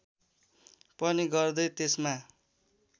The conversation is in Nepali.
पनि गर्दै त्यसमा